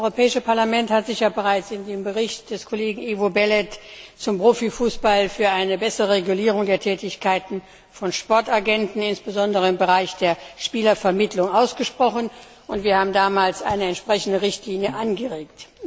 Das Europäische Parlament hat sich bereits in dem Bericht des Kollegen Ivo Belet zum Profifußball für eine bessere Regulierung der Tätigkeiten von Sportagenten, insbesondere im Bereich der Spielervermittlung, ausgesprochen, und wir haben damals eine entsprechende Richtlinie angeregt.